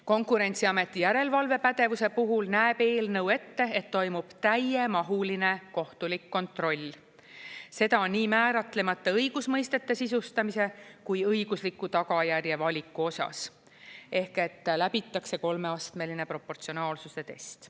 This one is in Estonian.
Konkurentsiameti järelevalvepädevuse puhul näeb eelnõu ette, et toimub täiemahuline kohtulik kontroll, seda nii määratlemata õigusmõistete sisustamise kui õigusliku tagajärje valiku osas, ehk läbitakse kolmeastmeline proportsionaalsuse test.